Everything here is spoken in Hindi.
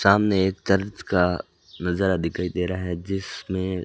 सामने एक चर्च का नजारा दिखाई दे रहा है जिसमें--